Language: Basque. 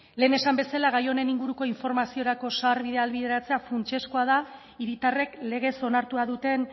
lehen esan bezala gai honen inguruko informaziorako sarbidea ahalbideratzea funtsezkoa da hiritarrek legez onartua duten